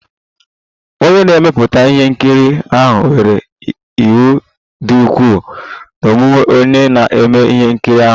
Onye na-emepụta ihe nkiri ahụ were iwe dị ukwuu n'omume onye na-eme ihe nkiri ahụ